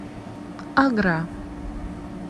агра